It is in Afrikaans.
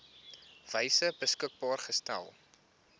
wyse beskikbaar gestel